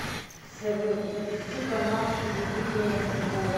салют запусти канал телевидения футбол